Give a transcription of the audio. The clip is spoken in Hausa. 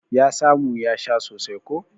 Ya samu ya sha sosai ko.